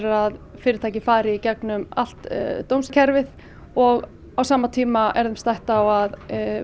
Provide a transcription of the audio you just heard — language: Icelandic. að fyrirtæki fari í gegnum allt dómskerfið og á sama tíma er þeim stætt á að